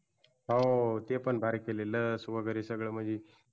हो ते पण भारी केलेल लस वैगरे सगळ म्हंजी